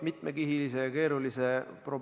Ma tänan teid selle arupärimise eest!